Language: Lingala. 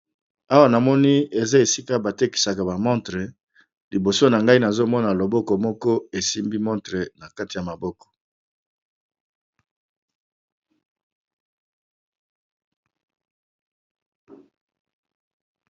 Awa na moni eza esika batekisaka bamontre liboso na ngai nazomona loboko moko esimbi montre na kati ya maboko.